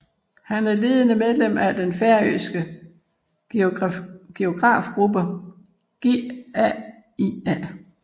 Han er ledende medlem af den færøske geografgruppe GAIA